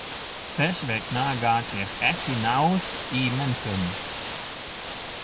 Þess vegna gat ég ekki náð í menntun.